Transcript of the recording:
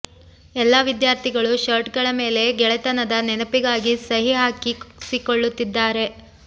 ಎಲ್ಲಾ ವಿದ್ಯಾರ್ಥಿಗಳು ಶರ್ಟ್ ಗಳ ಮೇಲೆ ಗೆಳೆತನದ ನೆನಪಿಗಾಗಿ ಸಹಿ ಹಾಕಿಸಿಕೊಳ್ಳುತ್ತಿದ್ದಾರೆ